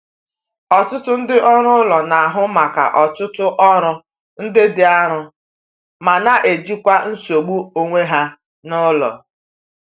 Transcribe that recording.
Ọtụtụ ndị ọrụ ụlọ na-ahụ maka ọtụtụ ọrụ ndị dị arọ ma na- ejikwa nsogbu onwe ha n'ụlọ.